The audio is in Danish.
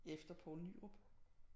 Efter Poul Nyrup